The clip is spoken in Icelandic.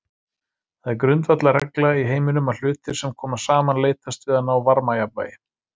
Það er grundvallarregla í heiminum að hlutir sem koma saman leitast við að ná varmajafnvægi.